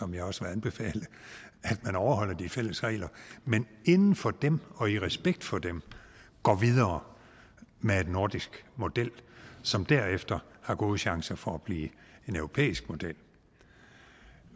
vil også anbefale at man overholder de fælles regler men inden for dem og i respekt for dem går videre med en nordisk model som derefter har gode chancer for at blive en europæisk model